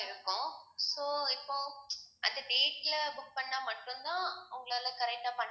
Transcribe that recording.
இருக்கும் so இப்போ அந்த date ல book பண்ணா மட்டும்தான் உங்களால correct ஆ